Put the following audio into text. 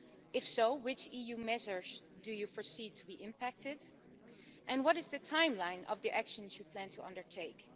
If so, which EU measures do you foresee to be impacted, and what is the timeline of the actions you plan to undertake?